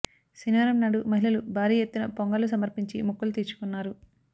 శనివారం నాడు మహిళలు భారీ యెత్తున పొంగళ్ళు సమర్పించి మొక్కులు తీర్చుకున్నారు